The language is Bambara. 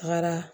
Tagara